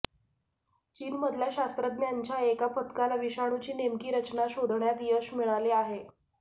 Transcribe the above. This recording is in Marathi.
चीनमधल्या शास्त्रज्ञांच्या एका पथकाला विषाणूची नेमकी रचना शोधण्यात यश मिळाले आहे